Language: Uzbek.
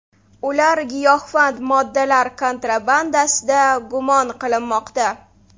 Ular giyohvand moddalar kontrabandasida gumon qilinmoqda.